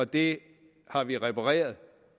det har vi repareret